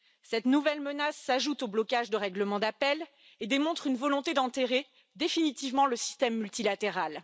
Cette nouvelle menace s'ajoute au blocage de règlement d'appel et démontre une volonté d'enterrer définitivement le système multilatéral.